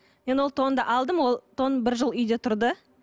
мен ол тонды алдым ол тон бір жыл үйде тұрды